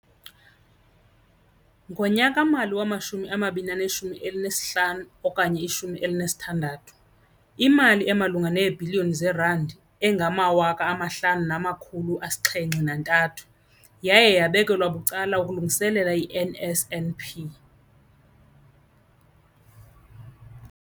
Ngonyaka-mali wama-2015 okanye i-16, imali emalunga neebhiliyoni zeerandi eziyi-5 703 yaye yabekelwa bucala ukulungiselela i-NSNP.